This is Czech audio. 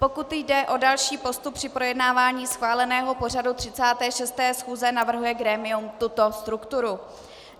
Pokud jde o další postup při projednávání schváleného pořadu 36. schůze, navrhuje grémium tuto strukturu: